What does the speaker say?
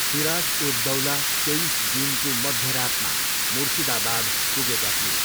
सिराज उद दौला तेइस जुनको मध्यरातमा मुर्सिदाबाद पुगेका थिए।